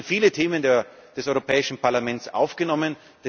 Es wurden viele Themen des Europäischen Parlaments aufgenommen.